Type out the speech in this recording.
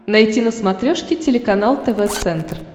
найти на смотрешке телеканал тв центр